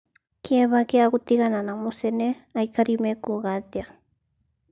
Kĩeba kĩa gũtigana na mucene"Aikari mekuuga atia?"